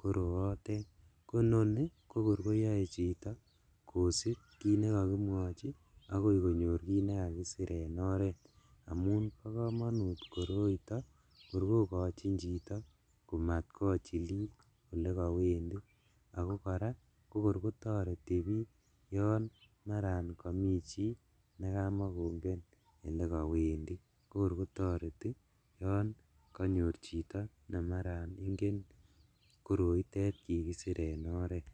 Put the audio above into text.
koro otet kononi kokorkoyoe chito kosip kit nekokimwochi akoi konyor kit nekakisir en oret amun bokomonut koroito korkokochin chito komat kochilil elekowendi ako kora kokorkotoreti biik yon maran komi chii nekamakongen elekowendi kokorkotoreti yon konyor chito nemaran ingen koroitet kikisir en oret.